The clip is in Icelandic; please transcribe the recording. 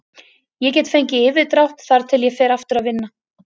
Ég get fengið yfirdrátt þar til ég fer aftur að vinna.